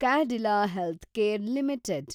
Cadila healthcare limited